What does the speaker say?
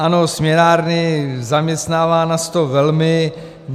Ano, směnárny - zaměstnává nás to velmi.